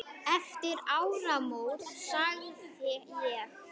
Eftir áramót sagði ég.